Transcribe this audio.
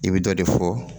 I bɛ dɔ de fɔ